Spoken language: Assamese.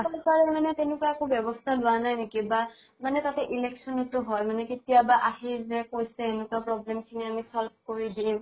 তেনেকুৱা একো ব্য়ৱস্থা লোৱা নাই নেকি বা মানে তাতে election তো হয় মানে কেতিয়াবা আহি যে কৈছে এনেকুৱা problem খিনি আমি solve কৰি দিম